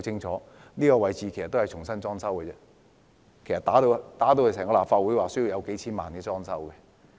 這個位置已經重新裝修，其實立法會被破壞後要花費數千萬元裝修。